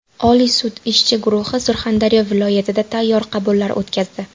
Oliy sud ishchi guruhi Surxondaryo viloyatida sayyor qabullar o‘tkazdi.